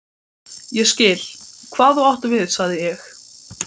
Ég skil, hvað þú átt við sagði ég.